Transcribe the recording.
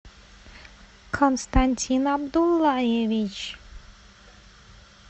константин абдуллаевич